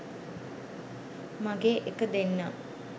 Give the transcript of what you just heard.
මගේ එක දෙන්නම්